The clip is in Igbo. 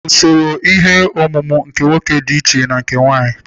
Usoro ihe ọmụmụ nke nwoke dị iche na nke nwanyị.